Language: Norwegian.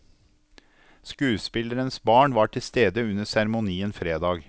Skuespillerens barn var til stede under seremonien fredag.